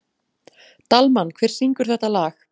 Dalmann, hver syngur þetta lag?